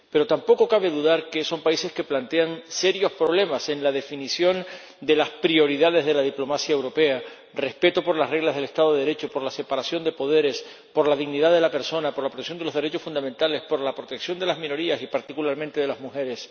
Pero tampoco cabe dudar de que son países que plantean serios problemas en la definición de las prioridades de la diplomacia europea por el respeto de las reglas del Estado de Derecho, por la separación de poderes, por la dignidad de la persona, por la opresión de los derechos fundamentales, por la protección de las minorías y, particularmente, de las mujeres.